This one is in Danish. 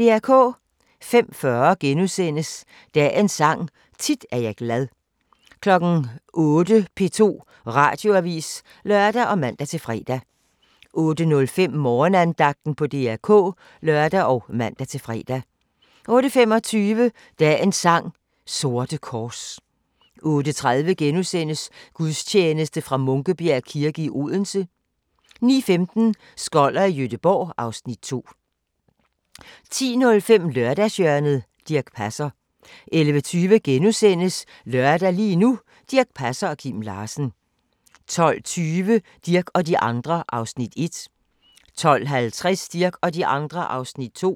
05:40: Dagens Sang: Tit er jeg glad * 08:00: P2 Radioavis (lør og man-fre) 08:05: Morgenandagten på DR K (lør og man-fre) 08:25: Dagens sang: Sorte kors 08:30: Gudstjeneste fra Munkebjerg kirke, Odense * 09:15: Skoller i Gøteborg (Afs. 2) 10:05: Lørdagshjørnet - Dirch Passer 11:20: Lørdag – lige nu: Dirch Passer og Kim Larsen * 12:20: Dirch og de andre (1:4) 12:50: Dirch og de andre (2:4)